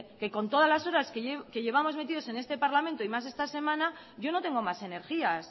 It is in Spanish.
que con todas las horas que llevamos metidos en este parlamento y más esta semana yo no tengo más energías